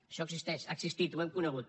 això existeix ha existit ho hem conegut